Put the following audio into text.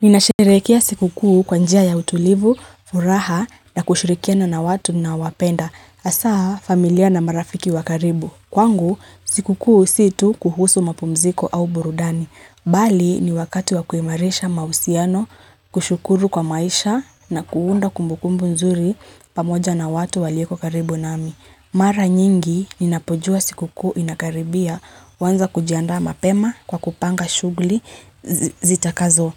Ninasherekia siku kuu kwa njia ya utulivu, furaha na kushurikia na na watu naowapenda. Asaa familia na marafiki wa karibu. Kwangu sikukuu si tu kuhusu mapumziko au burudani. Bali ni wakati wa kuimarisha mausiano kushukuru kwa maisha na kuunda kumbukumbu nzuri pamoja na watu walioko karibu nami. Mara nyingi ninapojua siku kuu inakaribia, uanza kujianda mapema kwa kupanga shugli zita kazo.